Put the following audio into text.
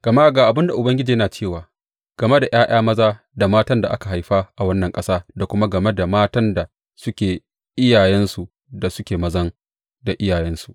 Gama ga abin da Ubangiji yana cewa game da ’ya’ya maza da matan da aka haifa a wannan ƙasa da kuma game da matan da suke iyayensu da suke mazan da iyayensu.